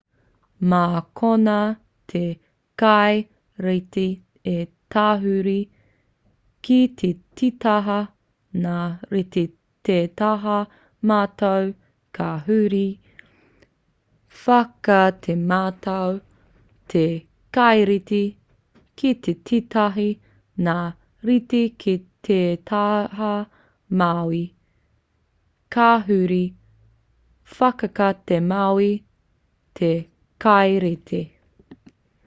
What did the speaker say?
mā konā te kaireti e tahuri ki te tītaha ngā reti ki te taha matau ka huri whakatematau te kaireti ki te tītaha ngā reti ki te taha mauī ka huri whakatemauī te kaireti